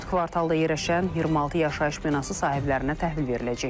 Dörd kvartalda yerləşən 26 yaşayış binası sahiblərinə təhvil veriləcək.